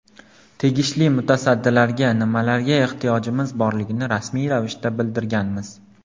Tegishli mutasaddilarga nimalarga ehtiyojimiz borligini rasmiy ravishda bildirganmiz.